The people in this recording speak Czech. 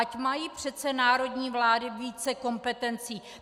Ať mají přece národní vlády více kompetencí.